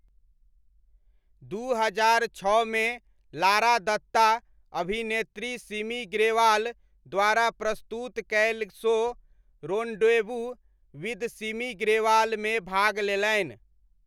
दू हजार छओमे लारा दत्ता, अभिनेत्री सिमी ग्रेवाल द्वारा प्रस्तुत कयल show 'rendezvous with Simi Grewal' मे भाग लेलनि।